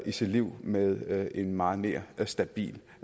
i sit liv med en meget mere stabil